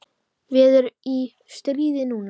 Við erum í stríði núna.